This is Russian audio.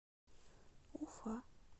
уфа